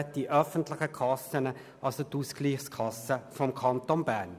Dazu gehören die öffentlichen Kassen, also zum Beispiel die Ausgleichskasse des Kantons Bern.